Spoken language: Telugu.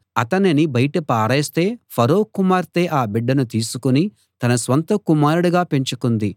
అతనిని బయట పారేస్తే ఫరో కుమార్తె ఆ బిడ్డను తీసుకుని తన స్వంత కుమారుడిగా పెంచుకుంది